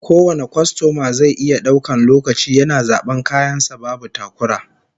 Kowane kwastoma zai iya daukan lokaci yana zaban kayan sa babu takura